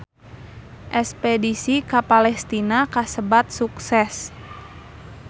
Espedisi ka Palestina kasebat sukses